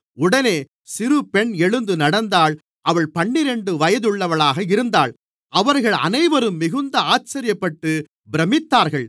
உடனே சிறுபெண் எழுந்து நடந்தாள் அவள் பன்னிரண்டு வயதுள்ளவளாக இருந்தாள் அவர்கள் அனைவரும் மிகுந்த ஆச்சரியப்பட்டுப் பிரமித்தார்கள்